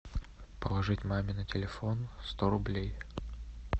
положить маме на телефон сто рублей